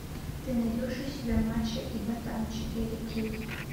ты найдешь у себя мачо и ботан четыре кей